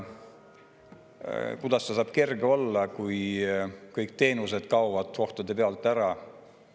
Kuidas ta saab kerge olla, kui kõik teenused kaovad kohtade pealt ära?